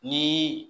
Ni